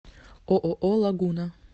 ооо лагуна